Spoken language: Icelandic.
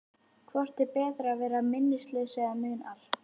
Hvort er betra að vera minnislaus eða muna allt?